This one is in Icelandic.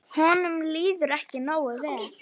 Honum líður ekki nógu vel.